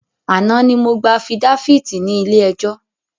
Àná ni mo gbà afidáfíítì ní ilé ẹjọ́